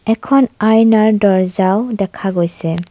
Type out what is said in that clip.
এখন আইনাৰ দৰ্জাও দেখা গৈছে।